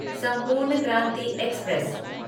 संपूर्ण क्रांति एक्सप्रेस